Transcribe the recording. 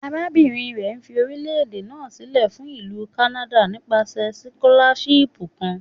Arabinrin rẹ fi orilẹ-ede naa silẹ fun Ilu Kanada nipasẹ sikolashipu kan